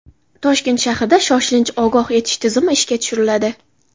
Toshkent shahrida shoshilinch ogoh etish tizimi ishga tushiriladi.